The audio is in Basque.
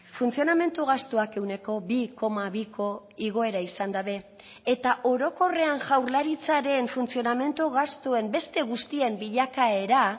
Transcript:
funtzionamendu gastuak ehuneko bi koma biko igoera izan dabe eta orokorrean jaurlaritzaren funtzionamendu gastuen beste guztien bilakaera